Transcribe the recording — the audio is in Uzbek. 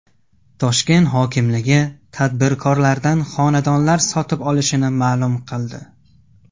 Toshkent hokimligi tadbirkorlardan xonadonlar sotib olishini ma’lum qildi.